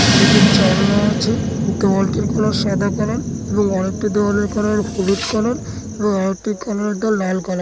দুটি জানলা আছে। দেওয়ালটির কালার সাদা কালার এবং আরেকটি দেওয়ালের কালার হলুদ কালার এবং আরেকটি কালারের দেওয়াল লাল কালার --